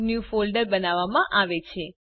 new folder બનાવવામાં આવે છે